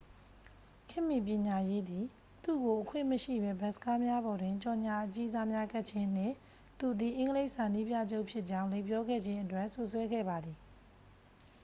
ခေတ်မီပညာရေးသည် သူ့ကို အခွင့်မရှိဘဲ ဘတ်စ်ကားများပေါ်တွင် ကြော်ငြာအကြီးစားများကပ်ခြင်းနှင့် သူသည် အင်္ဂလိပ်စာနည်းပြချုပ်ဖြစ်ကြောင်း လိမ်ပြောခဲ့ခြင်းအတွက် စွပ်စွဲခဲ့ပါသည်